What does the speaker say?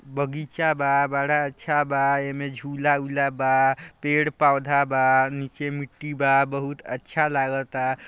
बगीचा बा बड़ा अच्छा बा एमे झूला उला बा पेड़-पौधा बा नीचे में मिट्टी बा बहुत अच्छा लगाता।